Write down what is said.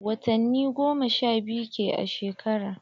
Watani goma sha biyu ke a shekara.